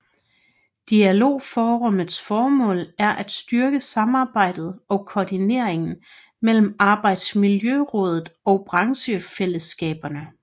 Dialogforummets formål er at styrke samarbejdet og koordineringen mellem Arbejdsmiljørådet og branchefællesskaberne